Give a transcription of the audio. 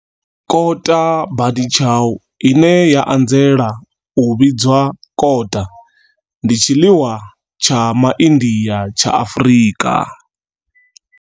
Kota bunny chow, ine ya anzela u vhidzwa kota, ndi tshiḽiwa tsha MaIndia tsha Afrika.